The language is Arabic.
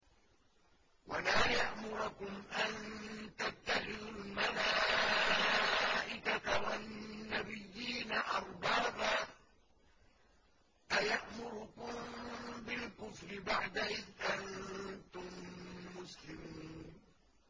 وَلَا يَأْمُرَكُمْ أَن تَتَّخِذُوا الْمَلَائِكَةَ وَالنَّبِيِّينَ أَرْبَابًا ۗ أَيَأْمُرُكُم بِالْكُفْرِ بَعْدَ إِذْ أَنتُم مُّسْلِمُونَ